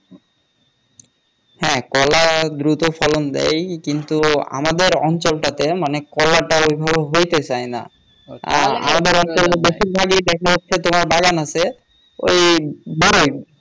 হ্যাঁ কলা দ্রুত ফলন দেয় কিন্তু আমাদের অঞ্চলটা তে মানে কলাটা ঐভাবে হইতে চায় না আমাদের এখানে বেশি ভাগে তোমার বাগান আছে ঐ বরই